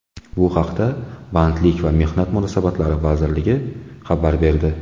Bu haqda Bandlik va mehnat munosabatlari vazirligi xabar berdi .